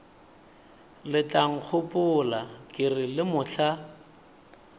letlankgopola ke re le mohla